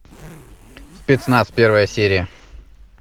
спецназ первая серия